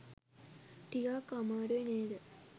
ටිකක් අමාරුයි නේද?